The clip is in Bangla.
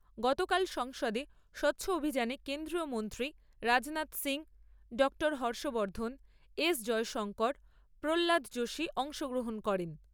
গতকাল সংসদে স্বচ্ছ অভিযানে কেন্দ্রীয় মন্ত্রী রাজনাথ সিং , ডাক্তার হর্ষবর্ধন , এস জয়শংকর প্ৰহ্লাদ যোশী অংশ গ্রহন করেন ।